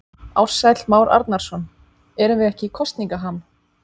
Ársæll Már Arnarson: Erum við ekki í kosningaham?